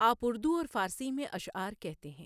آپ اردو اور فارسی میں اشعار کہتے ہیں۔